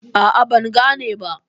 A'a, ban gane ba.